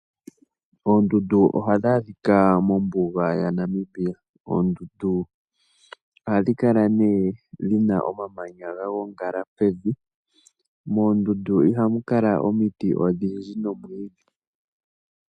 Oondundu ohadhi adhika mombuga yaNamibia. Oondundu ohadhi kala dhina omamanya gagongala pevi. Moondundu ihamu kala omiti odhindji nomwiidhi.